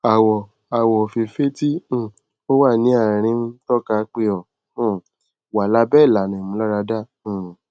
awọ awọ ofeefee ti um o wa ni aarin n tọka pe o um wa labẹ ilana imularada um